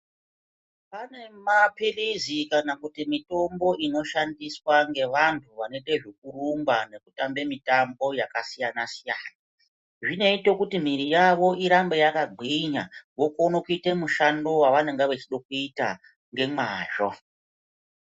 Pane maphirizi kana kuti mitombo inoshandiswa ngevantu vanoite zvekurumba kana kutambe mitambo yakasiyana-siyana. Zvinoite kuti miviri yavo irambe yakagwinya vokone kuita mushando wevanenge veida kuita ngemazvo.